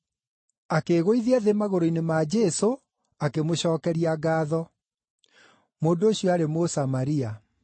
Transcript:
Akĩĩgũithia thĩ magũrũ-inĩ ma Jesũ, akĩmũcookeria ngaatho. Mũndũ ũcio aarĩ Mũsamaria.